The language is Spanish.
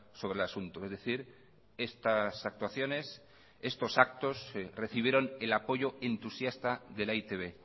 sobre el asunto es decir estas actuaciones estos actos recibieron el apoyo entusiasta de la e i te be